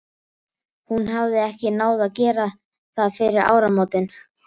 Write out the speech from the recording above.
Hún hafði ekki náð að gera það fyrir áramótin.